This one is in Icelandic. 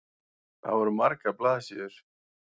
Það voru margar blaðsíður.